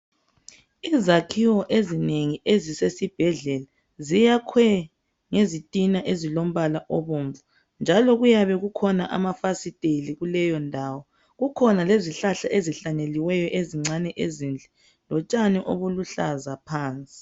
Izakhiwo ezinengi ezisesibhedlela ziyakhwe ngezitina ezilombala obomvu njalo kuyabe kukhona amafasiteli kuleyondawo .Kukhona lezihlahla ezincane ezihlanyeliweyo ezinhle lotshani obuluhlaza phansi.